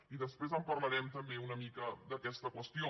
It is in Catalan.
i després en parlarem també una mica d’aquesta qüestió